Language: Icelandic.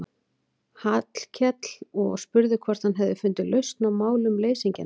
Hallkel og spurði hvort hann hefði fundið lausn á málum leysingjanna.